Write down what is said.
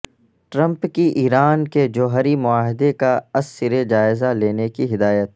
Trump کی Iran کے جوہری معاہدے کا ازسر جائزہ لینے کی ہدایت